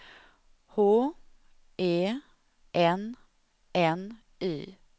H E N N Y